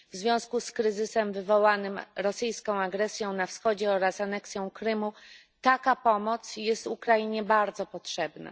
W związku z kryzysem wywołanym rosyjską agresją na Wschodzie oraz aneksją Krymu taka pomoc jest Ukrainie bardzo potrzebna.